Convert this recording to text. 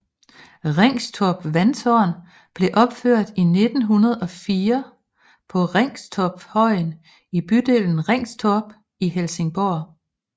Ringstorp Vandtårn blev opført i 1904 på Ringstorpshøjen i bydelen Ringstorp i Helsingborg